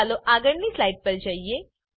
ચાલો આગળની સ્લાઈડ પર જઈએ